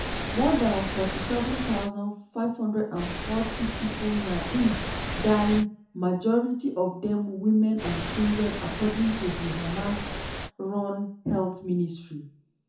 more dan 47540 pipo na im die majority of dem women and children according to di hamas-run health ministry.